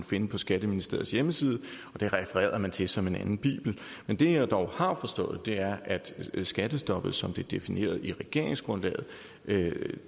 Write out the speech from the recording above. finde på skatteministeriets hjemmeside og det refererede man til som til en anden bibel men det jeg dog har forstået er at skattestoppet som det er defineret i regeringsgrundlaget